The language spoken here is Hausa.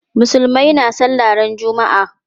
Musulmai na sallah ran juma'a.